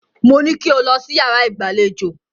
Mo ní kí o lọ sí yàrá ìgbàlejò.